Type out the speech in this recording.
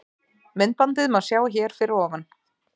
Myndbandið má sjá hér fyrir ofan.